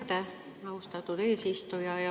Aitäh, austatud eesistuja!